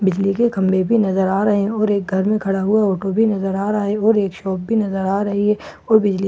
बिजले की कमरे भी नजर अ रहा है और एक घर मई खरा हुआ ऑटो भी नजर आ रहा है और एक शॉप भी नजर आ रही है और बिजले की--